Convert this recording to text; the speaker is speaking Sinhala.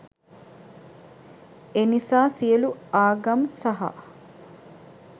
එනිසා සියලු ආගම් සහ